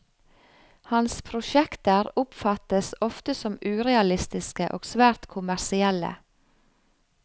Hans prosjekter oppfattes ofte som urealistiske og svært kommersielle.